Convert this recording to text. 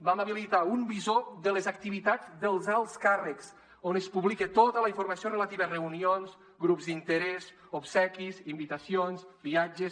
vam habilitar un visor de les activitats dels alts càrrecs on es publica tota la informació relativa a reunions grups d’interès obsequis invitacions viatges